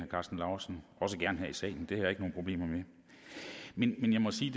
også gerne her i salen det har jeg ikke nogen problemer med men jeg må sige